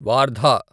Wardha